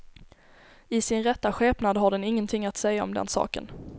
I sin rätta skepnad har den ingenting att säga om den saken.